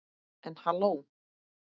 En halló.